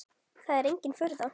Það er engin furða.